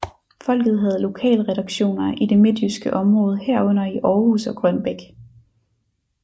Folket havde lokalredaktioner i det midtjyske område herunder i Århus og Grønbæk